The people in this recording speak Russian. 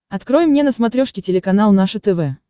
открой мне на смотрешке телеканал наше тв